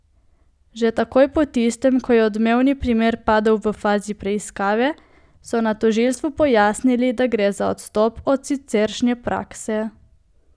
Že takoj po tistem, ko je odmevni primer padel v fazi preiskave, so na tožilstvu pojasnili, da gre za odstop od siceršnje prakse.